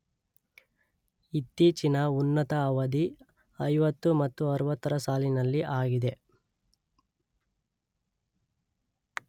ಇತ್ತೀಚಿನ ಉನ್ನತ ಅವಧಿ ಐವತ್ತು ಮತ್ತು ಅರುವತ್ತರ ಸಾಲಿನಲ್ಲಿ ಆಗಿದೆ.